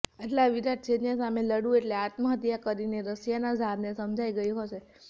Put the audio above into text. આટલા વિરાટ સૈન્ય સામે લડવું એટલે આત્મહત્યા કરવી એ રશિયાના ઝારને સમજાઈ ગયું હશે